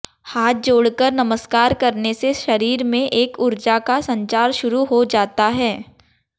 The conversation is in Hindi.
हाथ जोड़कर नमस्कार करने से शरीर में एक उर्जा का संचार शुरू हो जाता है